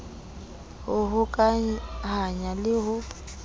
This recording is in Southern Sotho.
d ho hokahanya le ho